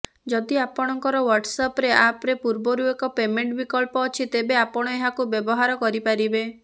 ଯଦି ଆପଣଙ୍କର ହ୍ୱାଟ୍ସଆପ୍ରେ ଆପ୍ରେ ପୂର୍ବରୁ ଏକ ପେମେଣ୍ଟ ବିକଳ୍ପ ଅଛି ତେବେ ଆପଣ ଏହାକୁ ବ୍ୟବହାର କରିପାରିବେ